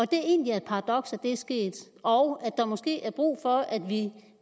det egentlig er et paradoks at det er sket og at der måske er brug for at vi